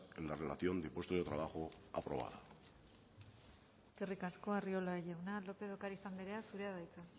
en la relación de puesto de trabajo aprobada eskerrik asko arriola jauna lópez de ocariz andrea zurea da hitza